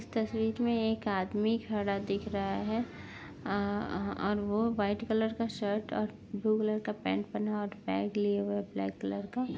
इस तस्वीर में एक आदमी खड़ा दिख रहा है। आ आ और वो व्हाइट कलर का शर्ट और ब्लू कलर का पैंट पहना है और बैग लिए हुए है ब्लैक कलर का।